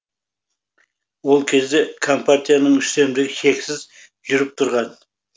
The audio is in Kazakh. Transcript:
ол кезде компартияның үстемдігі шексіз жүріп тұрған